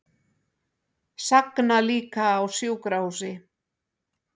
Sagna líka á sjúkrahúsi